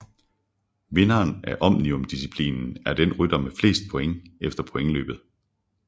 Vinder af Omnium disciplinen er den rytter med flest points efter pointløbet